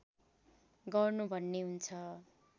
गर्नु भन्ने हुन्छ